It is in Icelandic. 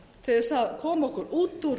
til að koma okkur út úr